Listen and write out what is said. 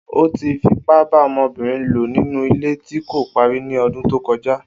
O ti fipa ba obinrin lo ninu ile ti ko pari ni ọdun to kọja